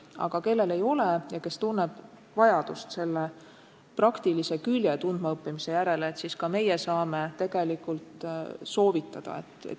Aga kui kellelgi ei ole, aga ta tunneb vajadust selle praktilist külge tundma õppida, siis ka meie saame seda tegelikult soovitada.